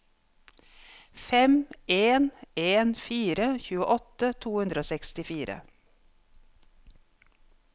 fem en en fire tjueåtte to hundre og sekstifire